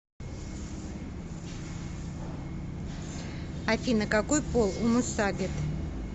афина какой пол у мусагет